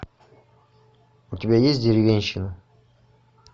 у тебя есть деревенщина